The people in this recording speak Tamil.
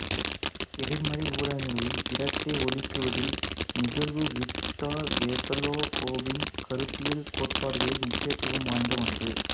எதிர்மறை ஊடகங்களில் இரட்டை ஒளிக்குவிதல் நிகழ்வு விக்டர் வெசலோகோவின் கருத்தியல் கோட்பாடுகளில் முக்கியத்துவம் வாய்ந்த ஒன்று